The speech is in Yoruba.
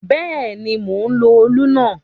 Bẹ́ẹ̀ ni, mò ń lo òlù náà.